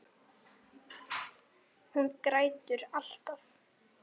Hún grætur alltaf.